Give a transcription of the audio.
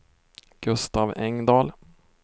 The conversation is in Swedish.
Gustav Engdahl